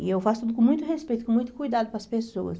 E eu faço tudo com muito respeito, com muito cuidado para as pessoas.